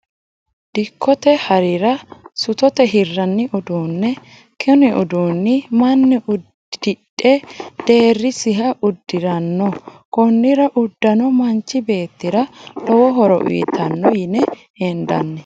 Dikkote harira sutote hiranni uduune, kini uduunni mani hidhe deerisiha udiranno, konira udano manchi beetira lowo horo uyiitano yine hendanni